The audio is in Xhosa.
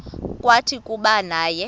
kwathi kuba naye